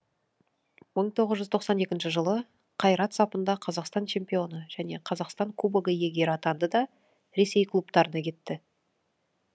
мың тоғыз жүз тоқсан екінші жылы қайрат сапында қазақстан чемпионы және қазақстан кубогы иегері атанды да ресей клубтарына кетті